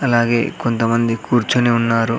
అలాగే కొంతమంది కూర్చొని ఉన్నారు.